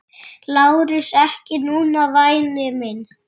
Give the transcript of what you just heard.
LÁRUS: Ekki núna, væni minn.